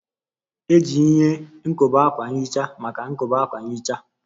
Eji ihe nkobe akwa nhicha maka nkobe akwa nhicha